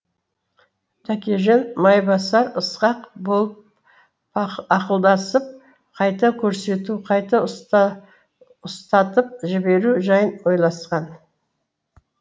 тәкежан майбасар ысқақ болып ақылдасып қайта көрсету қайта ұстатып жіберу жайын ойласқан